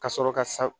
Ka sɔrɔ ka